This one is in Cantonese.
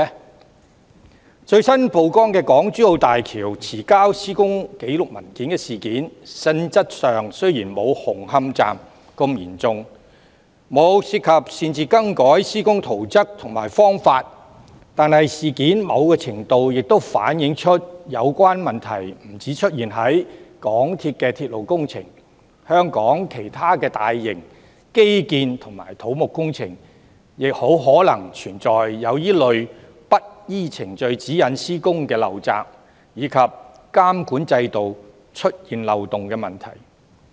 在最新曝光的港珠澳大橋遲交施工紀錄文件的事件，性質雖然沒有紅磡站的事件那麼嚴重，沒有涉及擅自更改施工圖則和方法，但某程度上反映出有關問題不單出現在港鐵公司的鐵路工程，香港其他大型基建和土木工程很可能也存在這類不依程序指引施工的陋習，以及監管制度出現漏洞的問題。